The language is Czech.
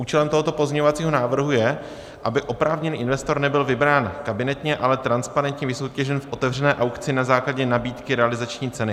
Účelem tohoto pozměňovacího návrhu je, aby oprávněný investor nebyl vybrán kabinetně, ale transparentně vysoutěžen v otevřené aukci na základě nabídky realizační ceny.